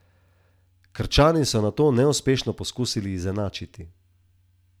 Krčani so nato neuspešno poskusili izenačiti.